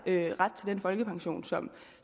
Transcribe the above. ret til den folkepension som